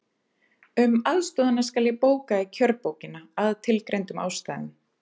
Um aðstoðina skal bóka í kjörbókina, að tilgreindum ástæðum.